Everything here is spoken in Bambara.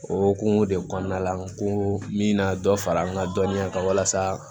O hokumu de kɔnɔna la n ko n bɛ na dɔ fara n ka dɔnniya kan walasa